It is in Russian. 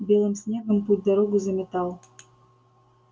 белым снегом путь-дорогу заметал